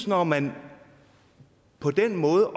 når man på den måde